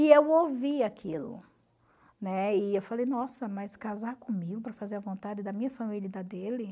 E eu ouvi aquilo, né, e eu falei, nossa, mas casar comigo para fazer a vontade da minha família e da dele?